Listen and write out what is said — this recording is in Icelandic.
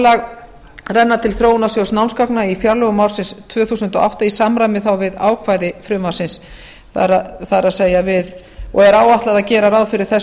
framlag renna til þróunarsjóðs námsgagna á fjárlögum ársins tvö þúsund og átta í samræmi þá við ákvæði frumvarpsins og er áætlað að gera ráð fyrir þessu